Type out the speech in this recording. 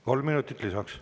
Kolm minutit lisaks.